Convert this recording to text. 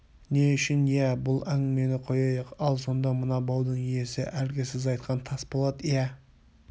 не үшін иә бұл әңгімені қояйық ал сонда мына баудың иесі әлгі сіз айтқан тасболат иә